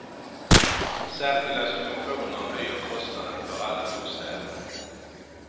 Särskilda subventioner höjer kostnaden för alla bostäder.